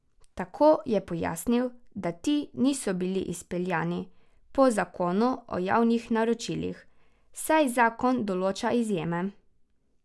Tako je pojasnil, da ti niso bili izpeljani po zakonu o javnih naročilih, saj zakon določa izjeme.